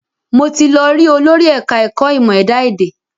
Mo ti lọ rí olórí ẹ̀ka ẹ̀kọ́ ìmọ̀ ẹ̀dá èdè